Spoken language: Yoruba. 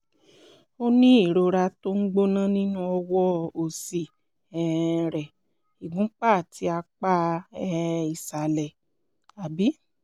o ní ìrora tó ń gbóná nínú ọwọ́ òsì um rẹ ìgúnpá àti apá um ìsàlẹ̀ um